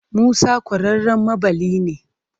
Musa ƙwararren maɓalli ne.